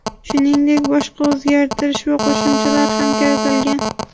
Shuningdek boshqa o‘zgartirish va qo‘shimchalar ham kiritilgan.